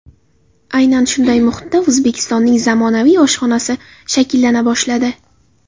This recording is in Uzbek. Aynan shunday muhitda O‘zbekistonning zamonaviy oshxonasi shakllana boshladi.